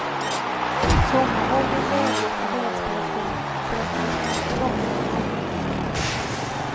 Sommarmord är en välgjord och välspelad film berättad i ett ganska långsamt noggrant tempo.